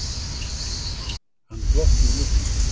Hann glotti í myrkrinu.